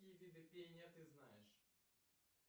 какие виды пения ты знаешь